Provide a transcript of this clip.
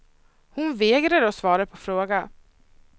Hon vägrar att svara på frågor.